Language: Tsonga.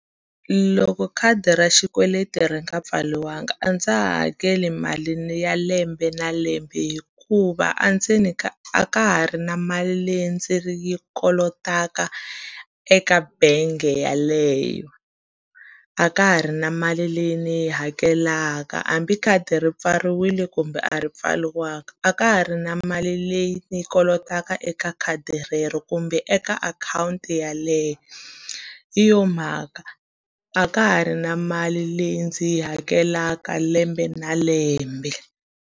Loko khadi ra xikweleti ri nga pfariwanga a ndza ha hakeli mali ya lembe na lembe hikuva a ndzeni ka a ka ha ri na mali leyi ndzi yi kolotaka eka bangi yeleyo. A ka ha ri na mali leyi ni yi hakelaka, hambi khadi ri pfariwile kumbe a ri pfariwanga, a ka ha ri na mali leyi ni yi kolotaka eka khadi right relero kumbe eka akhawunti yeleyo. Hi yo mhaka a ka ha ri na mali leyi ndzi yi hakelaka lembe na lembe.